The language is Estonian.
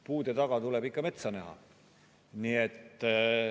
Puude taga tuleb ikka metsa näha.